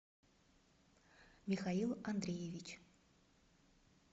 михаил андреевич